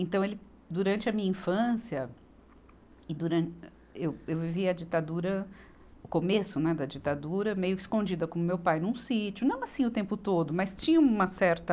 Então, ele durante a minha infância, e duran, âh, eu, eu vivi a ditadura, o começo, né, da ditadura, meio escondida com meu pai num sítio, não assim o tempo todo, mas tinha uma certa...